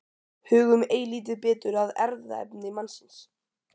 Hugum eilítið betur að erfðaefni mannsins.